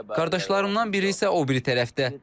Qardaşlarımdan biri isə o biri tərəfdə.